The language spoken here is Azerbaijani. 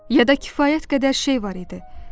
Ya da kifayət qədər şey var idi.